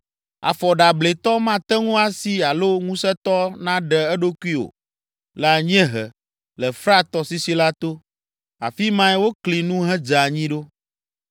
“Afɔ ɖeablɛtɔ mate ŋu asi alo ŋusẽtɔ naɖe eɖokui o. Le anyiehe, le Frat tɔsisi la to, afi mae wokli nu hedze anyi ɖo.